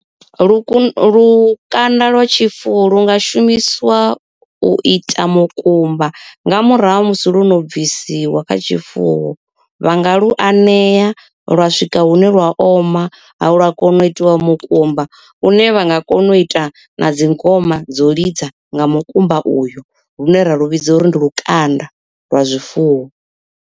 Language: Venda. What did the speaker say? Lukanda lwa tshifuwo lu nga shumisiwa u ita mukumba nga murahu ha musi lu no bvisiwa kha tshifuwo. Vha nga lu anea lwa swika hune lwa oma ha lwa kona u itiwa mukumba une vha nga kona u ita na dzingoma dzo lidza nga mukumba uyo lune ra lu vhidza uri ndi lukanda lwa zwifuwo.